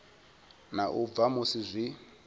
na u bva musi zwi